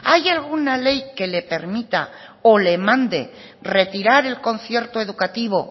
hay alguna ley que le permita o le mande retirar el concierto educativo